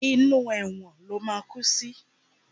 Inú ẹ̀wọ̀n ló máa kú sí!